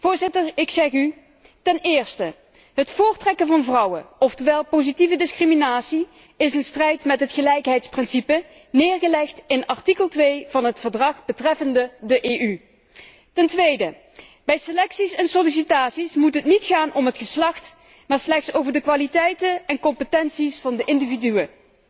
Voorzitter, ik zeg u, ten eerste het voortrekken van vrouwen ofwel positieve discriminatie is in strijd met het gelijkheidsprincipe neergelegd in artikel 2 van het Verdrag betreffende de Europese Unie. Ten tweede bij selecties en sollicitaties moet het niet gaan om het geslacht, maar slechts om de kwaliteiten en competenties van de individuen.